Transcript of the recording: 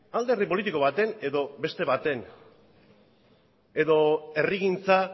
alderdi politiko baten edo beste baten edo herrigintza